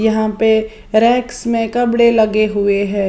यहां पे रेक्स में कपड़े लगे हुए हैं।